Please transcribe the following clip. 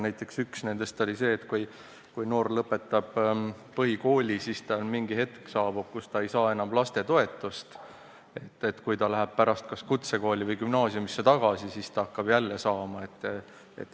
Näiteks oli üks nendest see, et kui noor inimene lõpetab põhikooli, siis saabub hetk, kui ta ei saa enam lapsetoetust, aga kui ta läheb pärast kas kutsekooli või gümnaasiumi, siis hakkab jälle saama.